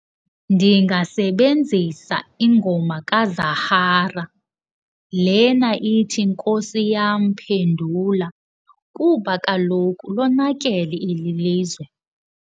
Ndingasebenzisa ingoma kaZahara lena ithi Nkosi Yam Phendula kuba kaloku lonakele eli lizwe.